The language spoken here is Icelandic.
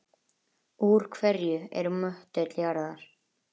Úr hverju er möttull jarðar?